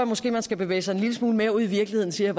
måske man skal bevæge sig en lille smule mere ud i virkeligheden siger